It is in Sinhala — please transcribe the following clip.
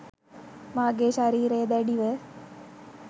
මාගේ ශරීරය දැඩි ව